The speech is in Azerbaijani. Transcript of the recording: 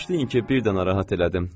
Bağışlayın ki, birdən narahat elədim.